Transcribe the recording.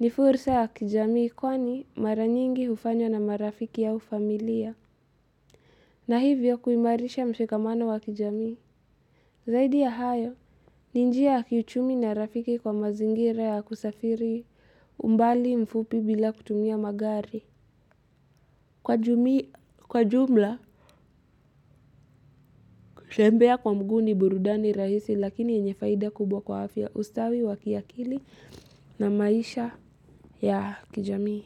ni fursa ya kijamii kwani mara nyingi hufanywa na marafiki au familia. Na hivyo kuimarisha mshikamano wa kijamii. Zaidi ya hayo, ni njia ya kiuchumi na rafiki kwa mazingira ya kusafiri umbali mfupi bila kutumia magari. Kwa jumla, kutembea kwa mguu ni burudani rahisi lakini yenye faida kubwa kwa afya ustawi wa kiakili na maisha ya kijamii.